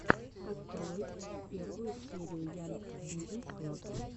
открой первую серию янг бизнесс клаб